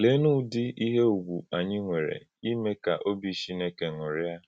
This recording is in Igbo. Léenụ́ Ụ́dị íhè ùgwù ànyí nwèrè ímè kà òbì Chínèkè ṅụ́rìá